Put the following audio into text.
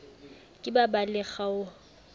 ke ba ba le kgaoho